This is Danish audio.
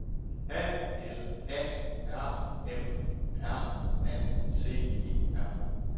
A L A R M R A C E R